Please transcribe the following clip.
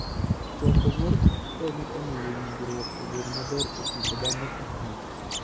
Choko mor kich konyo e miyo winjruok obed maber e kind dhano gi kich.